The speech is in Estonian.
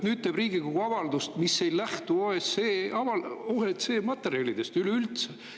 Nüüd teeb Riigikogu avaldust, mis ei lähtu OSCE materjalidest üldse.